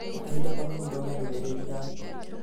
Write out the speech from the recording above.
He kahinda kanini thome ndũmĩrĩri yaku